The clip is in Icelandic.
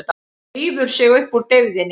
Rífur sig upp úr deyfðinni.